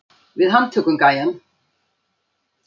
Við handtökum gæjann.